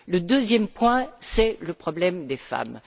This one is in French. Le deuxième point, c'est le problème des femmes.